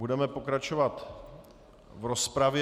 Budeme pokračovat v rozpravě.